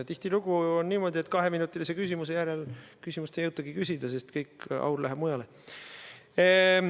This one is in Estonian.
Tihtilugu on niimoodi, et kaheminutilise küsimuse korral küsimust ei jõutagi esitada, sest kogu aur läheb mujale.